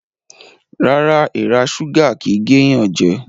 Rárá, èrà súgà kìí géyànjẹ